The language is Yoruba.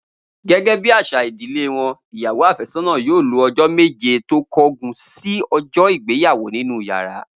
Gé̩gé̩ bí às̩à ìdílé wo̩n, ìyàwó àfé̩só̩nà yóò lò o̩jó̩ méje tó kó̩gun sí o̩jo̩ ìgbéyàwó nínú yàrá